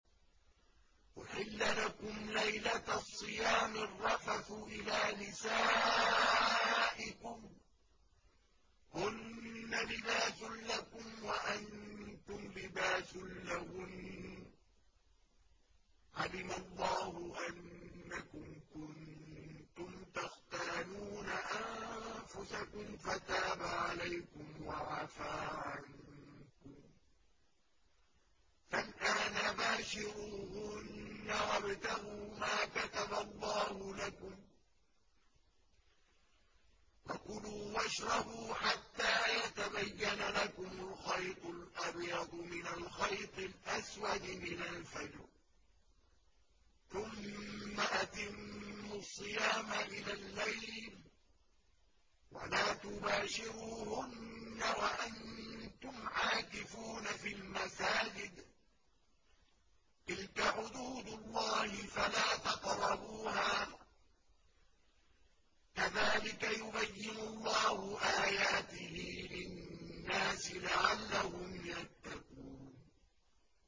أُحِلَّ لَكُمْ لَيْلَةَ الصِّيَامِ الرَّفَثُ إِلَىٰ نِسَائِكُمْ ۚ هُنَّ لِبَاسٌ لَّكُمْ وَأَنتُمْ لِبَاسٌ لَّهُنَّ ۗ عَلِمَ اللَّهُ أَنَّكُمْ كُنتُمْ تَخْتَانُونَ أَنفُسَكُمْ فَتَابَ عَلَيْكُمْ وَعَفَا عَنكُمْ ۖ فَالْآنَ بَاشِرُوهُنَّ وَابْتَغُوا مَا كَتَبَ اللَّهُ لَكُمْ ۚ وَكُلُوا وَاشْرَبُوا حَتَّىٰ يَتَبَيَّنَ لَكُمُ الْخَيْطُ الْأَبْيَضُ مِنَ الْخَيْطِ الْأَسْوَدِ مِنَ الْفَجْرِ ۖ ثُمَّ أَتِمُّوا الصِّيَامَ إِلَى اللَّيْلِ ۚ وَلَا تُبَاشِرُوهُنَّ وَأَنتُمْ عَاكِفُونَ فِي الْمَسَاجِدِ ۗ تِلْكَ حُدُودُ اللَّهِ فَلَا تَقْرَبُوهَا ۗ كَذَٰلِكَ يُبَيِّنُ اللَّهُ آيَاتِهِ لِلنَّاسِ لَعَلَّهُمْ يَتَّقُونَ